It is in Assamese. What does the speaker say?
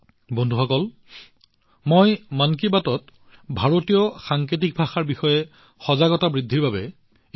বন্ধুসকল মই মন কী বাতত এই বিষয়ে আলোচনা কৰাৰ কাৰণ হল যাতে ভাৰতীয় সাংকেতিক ভাষাৰ বিষয়ে সজাগতা বৃদ্ধি পায়